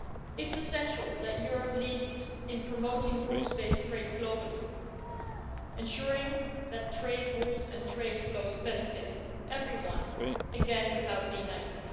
It's essential that Europe leads in promoting rules based trade globally, ensuring that trade rules and trade flows benefit everyone again, without being naive.